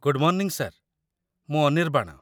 Good morning sir, ମୁଁ ଅନିର୍ବାଣ।